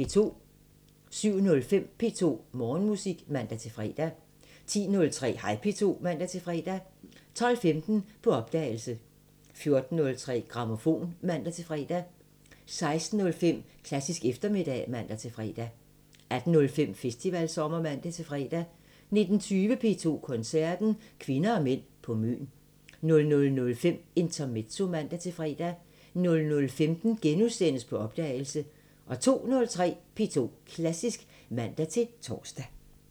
07:05: P2 Morgenmusik (man-fre) 10:03: Hej P2 (man-fre) 12:15: På opdagelse 14:03: Grammofon (man-fre) 16:05: Klassisk eftermiddag (man-fre) 18:05: Festivalsommer (man-fre) 19:20: P2 Koncerten – Kvinder og mænd på Møn 00:05: Intermezzo (man-fre) 00:15: På opdagelse * 02:03: P2 Klassisk (man-tor)